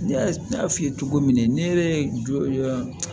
N y'a f'i ye cogo min ne jɔ